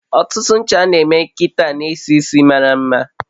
Ọtụtụ ncha a na eme kita n'esisi maramma